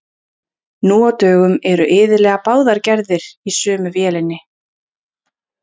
Nú á dögum eru iðulega báðar gerðir í sömu vélinni.